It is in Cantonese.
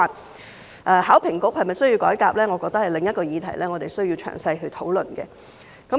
香港考試及評核局是否需要改革，我覺得是另一個我們需要詳細討論的議題。